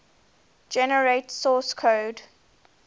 generate source code